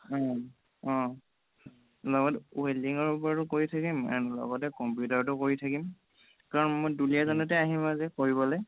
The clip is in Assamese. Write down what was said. উম অহ লগত welding ৰ ওপৰতো কৰি থাকিম and লগতে computer টো কৰি থাকিম কাৰণ মই দুলীয়াজানতে আহিম যে কৰিবলে